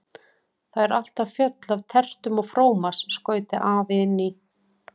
Það eru alltaf fjöll af tertum og frómas skaut afi inn í.